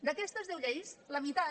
d’aquestes deu lleis la meitat